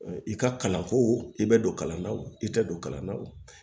I ka kalanko i tɛ don kalanna o i tɛ don kalan na o